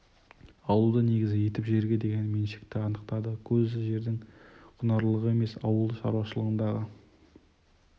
алуды негізі етіп жерге деген меншікті анықтады көзі жердің құнарлылығы емес ауыл шаруашылығындағы